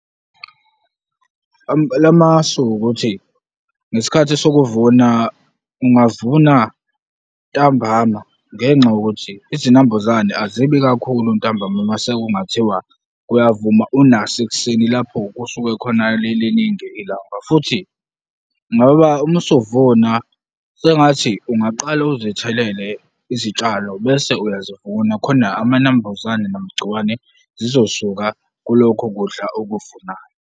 Lamasu ukuthi ngesikhathi sokuvuna, ungavuna ntambama ngenxa yokuthi izinambuzane azibi kakhulu ntambama. Mase kungathiwa kuyavuma unaso ekuseni lapho kusuke khona liliningi ilanga futhi ngoba uma usuvuna sengathi ungaqala uzithelele izitshalo bese uyazivuna khona amanambuzane namagcikwane zizosuka kulokho kudla okuvunayo.